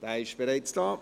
– Er ist bereits da.